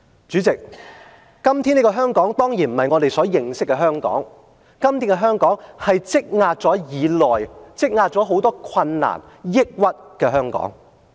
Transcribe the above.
主席，今天這個當然不是我們認識的香港，今天的香港是積壓已久、積壓很多困難抑鬱的香港。